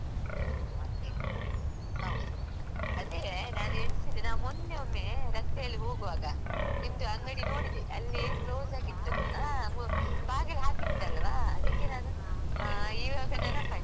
ಮತ್ತೆ ಹೌದು ಅದೆ ನಾನ್ ಎಣ್ಸಿದೆ ನಾನ್ ಮೊನ್ನೆ ಒಮ್ಮೇ ರಸ್ತೆ ಅಲ್ಲಿ ಹೋಗುವಾಗ ನಿಮ್ದು ಅಂಗಡಿ ನೋಡಿದೆ ಅಲ್ಲೀ close ಆಗಿತ್ತು ಅದು ಬಾಗಿಲು ಹಾಕಿತ್ತಲ್ವಾ ಅದಕ್ಕೆ ನಾನೂ ಆ ಈವಾಗ ನೆನಪಾಯ್ತಾ.